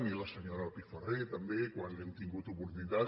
i la senyora pifarré també quan hem tingut oportunitat